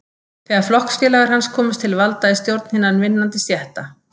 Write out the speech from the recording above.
Þegar flokksfélagar hans komust til valda í stjórn hinna vinnandi stétta